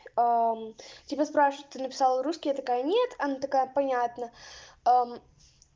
тебя спрашивают ты написал русский я такая нет она такая понятно а